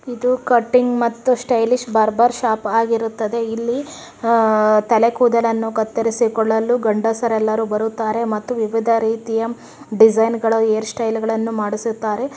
ಇದು ಕಟಿಂಗ್ ಮತ್ತು stylish barber shop ಆಗಿರುತ್ತದೆ ಇಲ್ಲಿ ಆ-ತಲೆ ಕೊದಲನ್ನು ಕತ್ತರಿಸಿಕೊಳ್ಳಲು ಗಂಡಸರೆಲ್ಲ ಬರುತ್ತಾರೆ ಮತ್ತು ವಿವಿಧ ರೀತಿಯ ಡಿಸೈನ್ಗಳ ಹೇರ್ ಸ್ಟೈಲ್ ಗಳನ್ನೂ ಮಾಡಿಸುತ್ತಾರೆ.